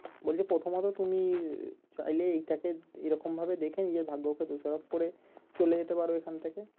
বলছে প্রথমত তুমি চাইলে এটাকে এরকম ভাবে দেখে নিজের ভাগ্যকে দোষারোপ করে চলে যেতে পারো এখন থেকে